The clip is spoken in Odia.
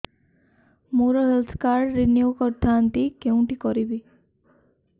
ମୋର ହେଲ୍ଥ କାର୍ଡ ରିନିଓ କରିଥାନ୍ତି କୋଉଠି କରିବି